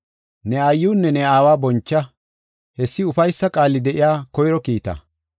“Ne aayiwunne ne aawa boncha.” Hessi ufaysa qaali de7iya koyro kiitaa.